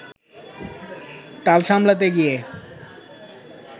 টাল সামলাতে গিয়ে